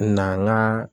Na